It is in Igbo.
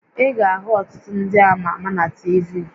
Ị ga-ahụ ọtụtụ ndị ama ama na TV